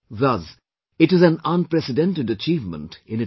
Thus, it is an unprecedented achievement in itself